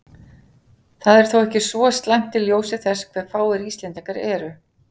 Það er þó ekki svo slæmt í ljósi þess hve fáir Íslendingar eru.